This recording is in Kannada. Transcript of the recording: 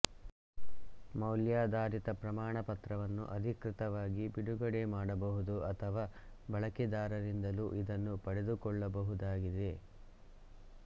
ಮೌಲ್ಯಾಧಾರಿತ ಪ್ರಮಾಣಪತ್ರವನ್ನು ಅಧಿಕೃತವಾಗಿ ಬಿಡುಗಡೆ ಮಾಡಬಹುದು ಅಥವಾ ಬಳಕೆದಾರರಿಂದಲೂ ಇದನ್ನು ಪಡೆದುಕೊಳ್ಳಬಹುದಾಗಿದೆ